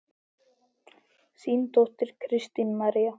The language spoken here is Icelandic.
Þín dóttir, Kristín María.